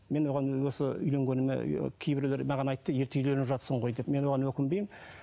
мен оған осы үйленгеніме ыыы кейбіреулер маған айтты ерте үйленіп жатырсың ғой деп мен оған өкінбеймін